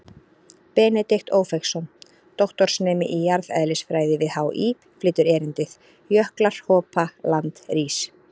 Benedikt Ófeigsson, doktorsnemi í jarðeðlisfræði við HÍ, flytur erindið: Jöklar hopa, land rís.